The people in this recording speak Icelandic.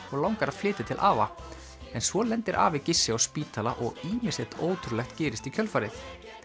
og langar að flytja til afa en svo lendir afi á spítala og ýmislegt ótrúlegt gerist í kjölfarið